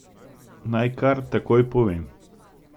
Naj kar takoj povem.